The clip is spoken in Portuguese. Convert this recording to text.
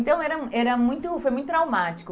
Então era hum era muito foi muito traumático.